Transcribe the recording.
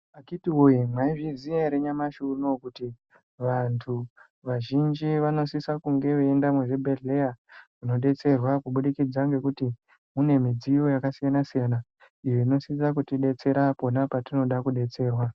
Akhiti woye mwaizviziya ere kuti nyamashi unouyu kuti vantu vazhinji vanosise kunge veiende muzvibhedhlera, kunodetserwa kubudikidza ngekuti mune midziyo yakasiyana-siyana, iyo inosise kutidetsera pona petinode kudetserwa.